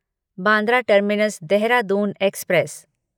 Bandra terminus Dehradun express